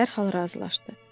dərhal razılaşdı.